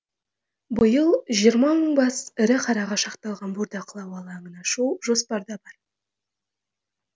биыл жиырма мың бас ірі қараға шақталған бордақылау алаңын ашу жоспарда бар